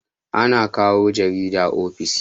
ana kawo jarida ofis